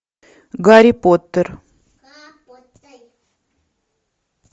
гарри поттер